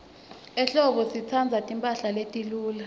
ehlobo sitsandza timphahla letiluca